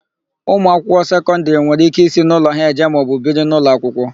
Ụmụakwụkwọ sekọndịrị nwere íké isi n'ụlọ ha eje maọbụ biri n'ụlọakwụkwọ.